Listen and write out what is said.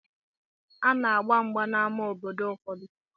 Ana-agba mgba n'amá obodo ụfọdụ.